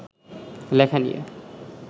লেখা নিয়ে